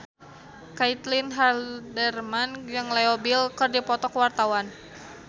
Caitlin Halderman jeung Leo Bill keur dipoto ku wartawan